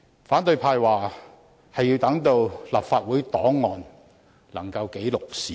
反對派說他們是要讓立法會檔案記錄事件。